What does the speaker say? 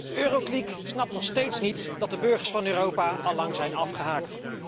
De eurokliek snapt nog steeds niet dat de burgers van Europa al lang zijn afgehaakt.